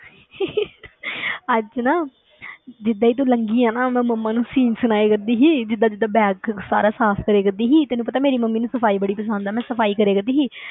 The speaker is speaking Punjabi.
ਅੱਜ ਨਾ ਜਿੱਦਾਂ ਹੀ ਤੂੰ ਲੰਘੀ ਹੈ ਨਾ ਮੈਂ ਮੰਮਾ ਨੂੰ scene ਸੁਣਾਇਆ ਕਰਦੀ ਸੀ, ਜਿੱਦਾਂ ਜਿੱਦਾਂ bag ਸਾਰਾ ਸਾਫ਼ ਕਰਿਆ ਕਰਦੀ ਸੀ, ਤੈਨੂੰ ਪਤਾ ਮੇਰੀ ਮੰਮੀ ਨੂੰ ਸਫ਼ਾਈ ਬੜੀ ਪਸੰਦ ਹੈ ਮੈਂ ਸਫ਼ਾਈ ਕਰਿਆ ਕਰਦੀ ਸੀ,